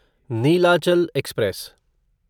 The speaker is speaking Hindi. नीलाचल एक्सप्रेस